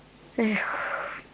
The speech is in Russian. эх